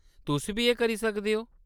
तुस बी एह् करी सकदे ओ।